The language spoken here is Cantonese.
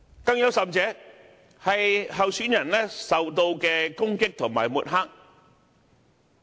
更有甚者，是候選人受到的攻擊和抹黑。